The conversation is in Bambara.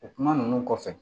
O kuma ninnu kɔfɛ